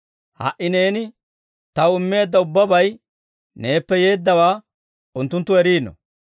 Ha"i neeni Taw immeedda ubbabay neeppe yeeddawaa unttunttu eriino.